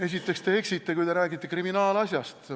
Esiteks te eksite, kui te räägite kriminaalasjast.